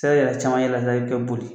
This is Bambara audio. yɛrɛ caman ye la kɛ boli